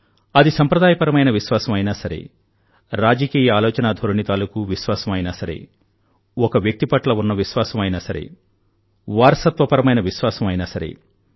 అది సంప్రదాయపరమైన విశ్వాసం అయినా సరే రాజకీయ ఆలోచనా ధోరణి తాలూకూ విశ్వాసం అయినా సరే ఒక వ్యక్తి పట్ల ఉన్న విశ్వాసం అయినా సరే వారసత్వపరమైన విశ్వాసం అయినా సరే